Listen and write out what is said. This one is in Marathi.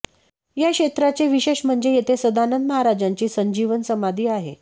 या क्षेत्राचे विशेष म्हणजे येथे सदानंद महाराजांची संजीवन समाधी आहे